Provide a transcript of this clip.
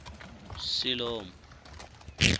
siḽomu